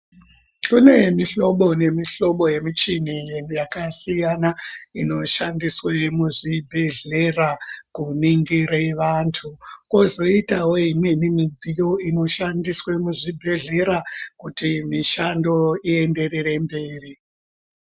Kunemihlobo nemihlobo yemichini yakasiyana inoshandiswe muzvibhedhlera kuningire vantu, kozoitawo imweni midziyo inoshandiswe muzvibhedhlera kuti mishando iyenderere mberi.